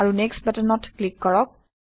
আৰু নেক্সট বাটনত ক্লিক কৰক